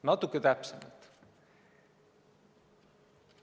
Natuke täpsemalt.